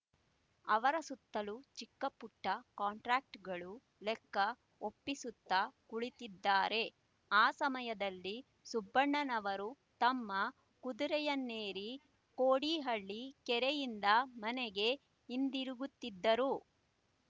ಅವರ ಸುತ್ತಲೂ ಚಿಕ್ಕಪುಟ್ಟ ಕಂಟ್ರಾಕ್ಟರ್‍ಗಳು ಲೆಕ್ಕ ಒಪ್ಪಿಸುತ್ತ ಕುಳಿತಿದ್ದಾರೆ ಆ ಸಮಯದಲ್ಲಿ ಸುಬ್ಬಣ್ಣನವರು ತಮ್ಮ ಕುದುರೆಯನ್ನೇರಿ ಕೋಡಿಹಳ್ಳಿ ಕೆರೆಯಿಂದ ಮನೆಗೆ ಹಿಂದಿರುಗುತ್ತಿದ್ದರು